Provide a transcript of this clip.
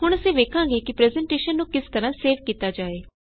ਹੁਣ ਅਸੀ ਵੇਖਾਂਗੇ ਕਿ ਪਰੈੱਜ਼ਨਟੇਸ਼ਨ ਨੂੰ ਕਿਸ ਤਰਹ ਸੇਵ ਕੀਤਾ ਜਾਏ